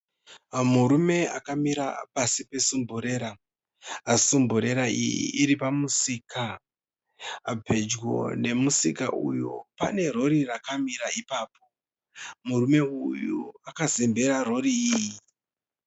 Murume akamira pasi pesumburera. Sumburera iyi iri pamusika. Pedyo nemusika uyu pane rori rakamira ipapo. Murume uyu akazembera rori iyi.